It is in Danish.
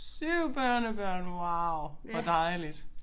7 børnebørn wow hvor dejligt